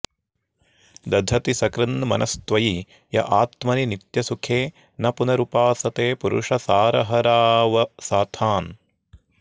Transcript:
दधति सकृन्मनस्त्वयि य आत्मनि नित्यसुखे न पुनरुपासते पुरुषसारहरावसथान्